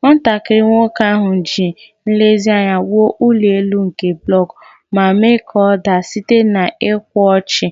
Nwatakịrị nwoke ahụ ji nlezianya wuo ụlọ elu nke blọk, ma mee ka ọ daa site n'ịkwa ọchị